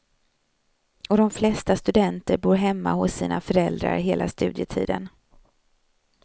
Och de flesta studenter bor hemma hos sina föräldrar hela studietiden.